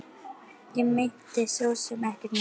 Ég meinti sosum ekkert með þessu.